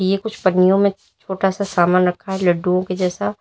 ये कुछ पन्नियों में छोटा सा सामान रखा है लड्डुओं के जैसा।